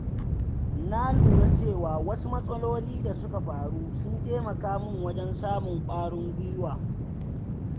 Na lura cewa wasu matsaloli da suka faru sun taimaka min wajen samun ƙwarin gwuiwa